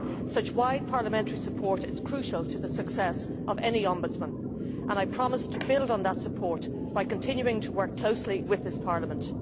Such wide parliamentary support is crucial to the success of any ombudsman, and I promise to build on that support by continuing to work closely with this Parliament.